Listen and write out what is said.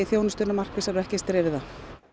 þjónustuna markvissari og ekki eins dreifða